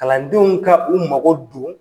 Kalandenw ka u mago dun